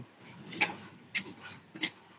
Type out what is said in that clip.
noise